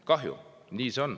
Kahju, aga nii see on.